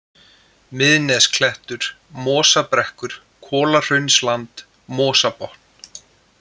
Miðnesklettur, Mosabrekkur, Kolahraunsland, Mosabotn